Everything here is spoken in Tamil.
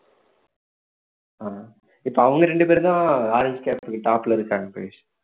ஆஹ் இப்ப அவங்க ரெண்டு பேர் தான் இருக்காங்க